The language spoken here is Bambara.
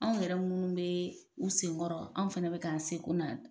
Anw yɛrɛ minnu bɛ u senkɔrɔ an fana bɛ k'an seko na